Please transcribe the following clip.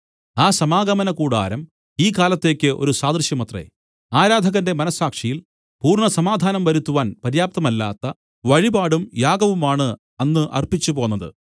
ആ സമാഗമനകൂടാരം ഈ കാലത്തേക്ക് ഒരു സാദൃശ്യമത്രേ ആരാധകന്റെ മനസ്സാക്ഷിയിൽ പൂർണ്ണ സമാധാനം വരുത്തുവാൻ പര്യാപ്തമല്ലാത്ത വഴിപാടും യാഗവുമാണ് അന്ന് അർപ്പിച്ചുപോന്നത്